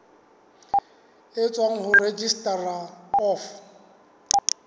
e tswang ho registrar of